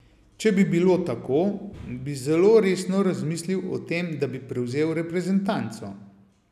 Če bi bilo tako, bi zelo resno razmislil o tem, da bi prevzel reprezentanco.